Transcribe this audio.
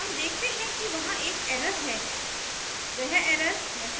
हम देखते हैं कि वहां एक error है